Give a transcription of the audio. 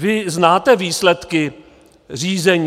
Vy znáte výsledky řízení?